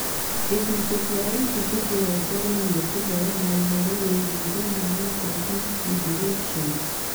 Gũcunjĩ kĩa ibuku kĩrongoreirie kũheana ũhoro wĩgiĩ thĩna wa 14q deletions